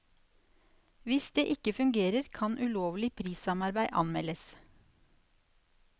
Hvis det ikke fungerer, kan ulovlig prissamarbeid anmeldes.